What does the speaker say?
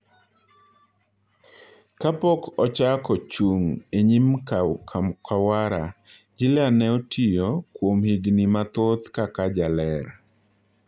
Ka pok ochako chung' enyim Kamwra, Gillean ne otiyo kuom higni mathoth kaka jaler